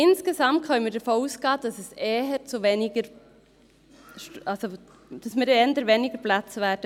Insgesamt können wir aber davon ausgehen, dass wir eher weniger Plätze benötigen werden.